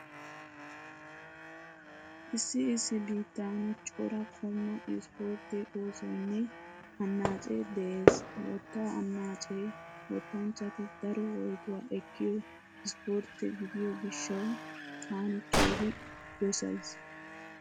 Issi issi biittan cora qommo ispportte oosoynne annaacee de'ees. Wottaa annaacee wottanchchati daro woytuwa ekkiyo ispportte gidiyo gishshawu taani keehi dosays.